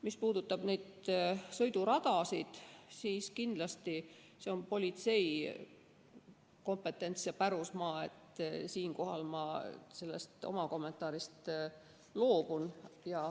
Mis puudutab sõiduradasid, siis see on kindlasti politsei kompetentsi pärusmaa, siinkohal ma oma kommentaarist loobun.